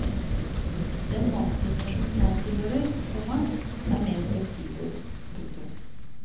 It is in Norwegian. Den mannsgenerasjonen jeg tilhører, komma er mer fleksibel. punktum